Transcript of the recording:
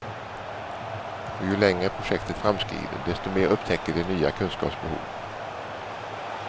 Och ju längre projektet framskrider, desto mer upptäcker de nya kunskapsbehov.